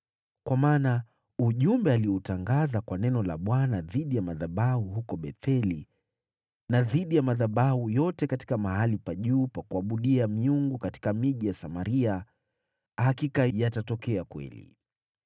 Kwa maana ujumbe alioutangaza kwa neno la Bwana dhidi ya madhabahu huko Betheli na dhidi ya madhabahu yote katika mahali pa juu pa kuabudia miungu katika miji ya Samaria, hakika yatatokea kweli.”